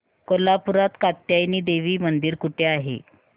कोल्हापूरात कात्यायनी देवी मंदिर कुठे आहे